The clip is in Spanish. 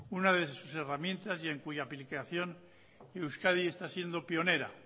una de sus herramientas y en cuya aplicación euskadi está siendo pionera